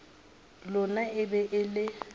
lona e be e le